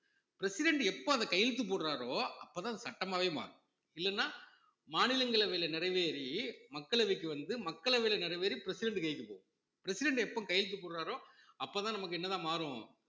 president எப்ப அந்த கையெழுத்து போடுறாரோ அப்பதான் அது சட்டமாவே மாறும் இல்லைன்னா மாநிலங்களவையில நிறைவேறி மக்களவைக்கு வந்து மக்களவையில நிறைவேறி president கைக்கு போகும் president எப்போ கையெழுத்து போடுறாரோ அப்பதான் நமக்கு என்னதான் மாறும்